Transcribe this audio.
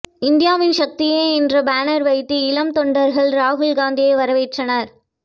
இந்தியாவின் சக்தியே என்று பேனர் வைத்து இளம் தொண்டர்கள் ராகுல்காந்தியை வரவேற்றனர்